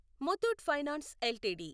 Muthoot finance LTD